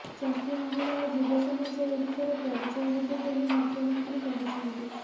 ଚାଷୀ ମହିଳା ଓ ଯୁବ ସମାଜ ଓଡିଶାର ପରିଚୟ ହେବେ ବୋଲି ମୁଖ୍ୟମନ୍ତ୍ରୀ କହିଛନ୍ତି